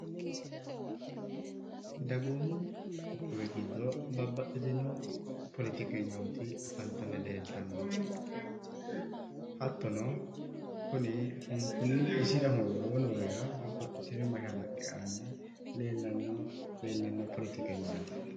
Dagoomu giddo babbaxitino poletikeynoot afanitanni leelitanno hattono kuni isira hunidaani noorira babbaxitino mashalaqe aani leelanno poletikeynaat